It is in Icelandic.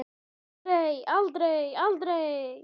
Aldrei, aldrei, aldrei!